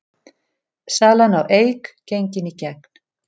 Salan á Eik gengin í gegn